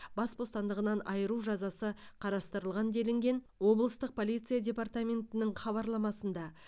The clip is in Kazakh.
бас бостандығынан айыру жазасы қарастырылған делінген облыстық полиция департаментінің хабарламасында